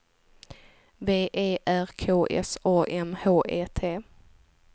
V E R K S A M H E T